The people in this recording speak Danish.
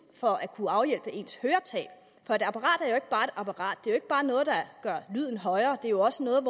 for at kunne afhjælpe ens høretab for et apparat er et apparat det er jo ikke bare noget der gør lyden højere det er også noget